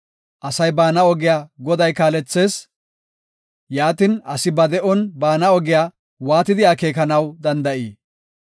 Asay baana ogiya Goday kaalethees; yaatin, asi ba de7on baana ogiya waatidi akeekanaw danda7ii?